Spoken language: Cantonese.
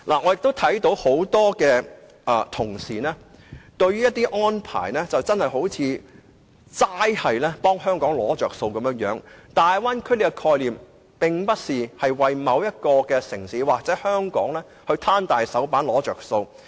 我發覺有不少同事均似乎傾向透過一些安排以為香港"攞着數"，但大灣區的概念，並非為香港或某一個城市"攤大手板""攞着數"。